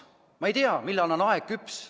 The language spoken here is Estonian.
Ma ei tea, millal on aeg küps.